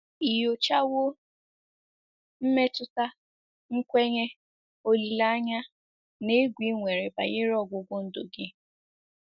Ị nyochawo mmetụta, nkwenye, olileanya, na egwu i nwere banyere ọgwụgwụ ndụ gị?